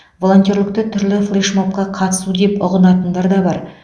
волонтерлікті түрлі флеш мобқа қатысу деп ұғынатындар да бар